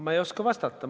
Ma ei oska vastata.